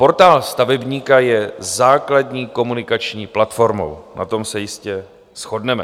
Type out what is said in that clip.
Portál stavebníka je základní komunikační platformou, na tom se jistě shodneme.